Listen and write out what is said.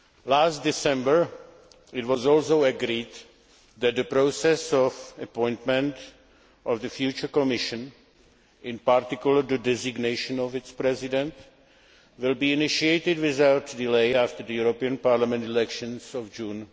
Last December, it was also agreed that the process of appointment of the future Commission, in particular the designation of its president, will be initiated without delay after the European Parliament elections of June